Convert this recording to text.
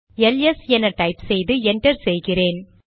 LS என type செய்து enter செய்கிறேன்